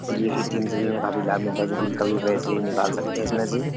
इसीलिए ए.टी.एम. से भी हमें काफी लाभ मिलता है जोकि हम कभी भी पैसे निकाल सकते हैं इसमें से।